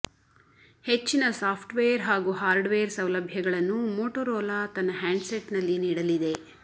ಹೆಚ್ಚಿನ ಸಾಫ್ಟ್ವೇರ್ ಹಾಗೂ ಹಾರ್ಡ್ವೇರ್ ಸೌಲಭ್ಯಗಳನ್ನು ಮೋಟೋರೋಲಾ ತನ್ನ ಹ್ಯಾಂಡ್ಸೆಟ್ನಲ್ಲಿ ನೀಡಲಿದೆ